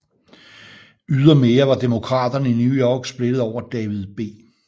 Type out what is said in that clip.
Ydermere var Demokraterne i New York splittede over David B